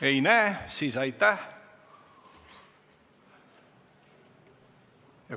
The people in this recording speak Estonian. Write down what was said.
Ei näe soovi, siis aitäh!